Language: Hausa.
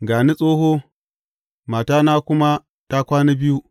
Ga ni tsoho, matana kuma ta kwana biyu.